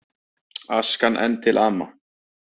Askan enn til ama